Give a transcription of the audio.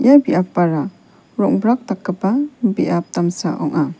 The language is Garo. ia biapara rong·brak dakgipa biap damsa ong·a.